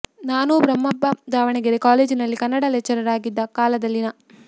ನಾನೂ ಬ್ರಹ್ಮಪ್ಪ ದಾವಣಗೆರೆ ಕಾಲೇಜಿನಲ್ಲಿ ಕನ್ನಡ ಲೆಕ್ಚರರ್ ಆಗಿದ್ದ ಕಾಲದಲ್ಲಿ ನಾ